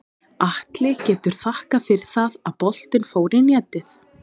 Atli getur þakkað fyrir það að boltinn fór í netið.